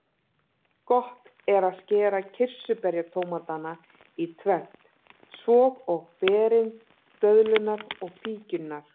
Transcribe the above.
Gott er skera kirsuberjatómatana í tvennt, svo og berin, döðlurnar og fíkjurnar.